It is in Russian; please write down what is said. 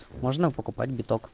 можно покупать биток